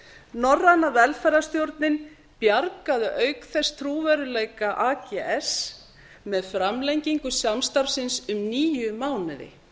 norræna velferðarstjórnin bjargaði auk þess trúverðugleika ags með framlengingu samstarfs síns um níu mánuði